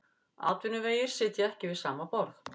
Atvinnuvegir sitja ekki við sama borð